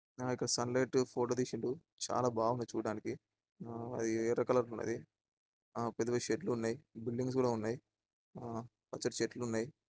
మేము ఇక్కడ sunlight photo తీసిండు చాలా బాగుంది చూడ్డానికి ఆ అది ఎర్ర కలర్ లో ఉన్నదీ పెద్దపెద్ద చెట్లున్నాయి బిల్డింగ్స్ కూడా ఉన్నాయి ఆ-పచ్చటి చెట్లున్నాయి.